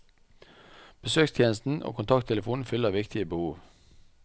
Besøkstjenesten og kontakttelefonen fyller viktige behov.